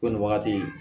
Ko nin wagati in